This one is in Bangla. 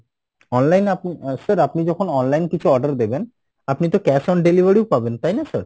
online আপনি আহ sir আপনি যখন online কিছু order দেবেন আপনি তো cash on delivery ও পাবেন তাই না sir?